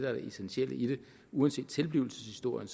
er det essentielle i det uanset tilblivelseshistorien